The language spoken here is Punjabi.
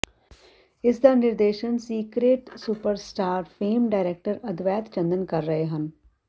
ਇਸਦਾ ਨਿਰਦੇਸ਼ਨ secret superstar fame director Advait Chandan ਕਰ ਰਹੇ ਹਨ